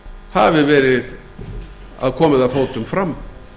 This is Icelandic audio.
hafi verið komið að fótum fram